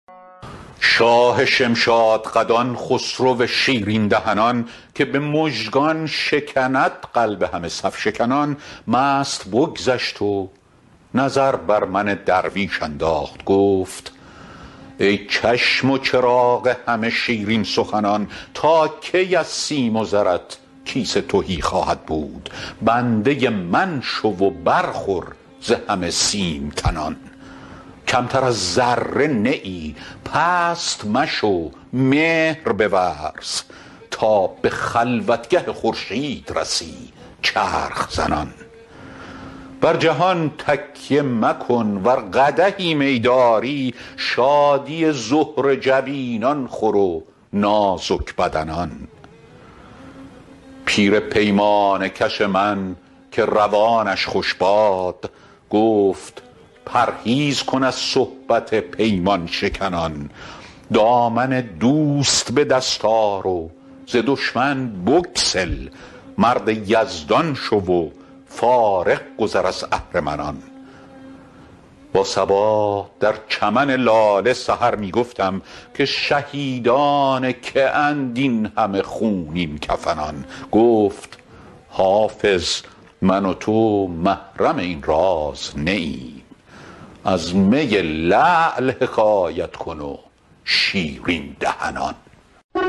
شاه شمشادقدان خسرو شیرین دهنان که به مژگان شکند قلب همه صف شکنان مست بگذشت و نظر بر من درویش انداخت گفت ای چشم و چراغ همه شیرین سخنان تا کی از سیم و زرت کیسه تهی خواهد بود بنده من شو و برخور ز همه سیم تنان کمتر از ذره نه ای پست مشو مهر بورز تا به خلوتگه خورشید رسی چرخ زنان بر جهان تکیه مکن ور قدحی می داری شادی زهره جبینان خور و نازک بدنان پیر پیمانه کش من که روانش خوش باد گفت پرهیز کن از صحبت پیمان شکنان دامن دوست به دست آر و ز دشمن بگسل مرد یزدان شو و فارغ گذر از اهرمنان با صبا در چمن لاله سحر می گفتم که شهیدان که اند این همه خونین کفنان گفت حافظ من و تو محرم این راز نه ایم از می لعل حکایت کن و شیرین دهنان